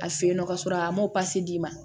A fe yen nɔ ka sɔrɔ a ma d'i ma